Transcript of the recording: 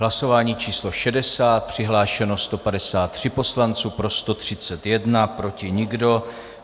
Hlasování číslo 60, přihlášeno 153 poslanců, pro 131, proti nikdo.